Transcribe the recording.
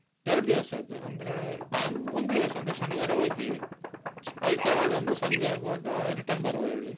ಎರಡು ದಿವಸದ್ದು ಅಂದ್ರೆ time ಒಂದು ದಿವಸ ಅಂದ್ರೆ ಶನಿವಾರ ಹೋಗಿ, ಆದಿತ್ಯವಾರದಂದು ಸಂಜೆ ಆಗುವಾಗ return ಬರುವ ಹೇಳಿ.